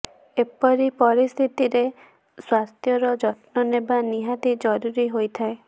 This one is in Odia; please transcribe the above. ଏପରି ପରିସ୍ଥିତିରେ ସ୍ବାସ୍ଥ୍ୟର ଯତ୍ନ ନେବା ନିହାତି ଜରୁରୀ ହୋଇଥାଏ